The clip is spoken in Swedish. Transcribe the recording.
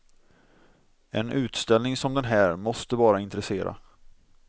En utställning som den här måste bara intressera.